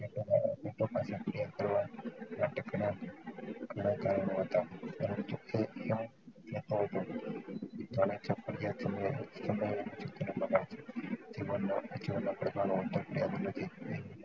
ઘણા કારણો હતા પરંતુ